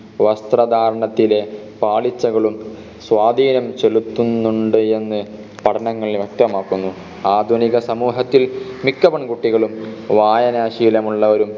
വസ്ത്രധാരണത്തിലെ പാളിച്ചകളും സ്വാധീനം ചെലുത്തുന്നുണ്ട് എന്ന് പഠനങ്ങൾ വ്യക്തമാക്കുന്നു ആധുനിക സമൂഹത്തിൽ മിക്ക പെൺകുട്ടികളും വായനാശീലമുള്ളവരും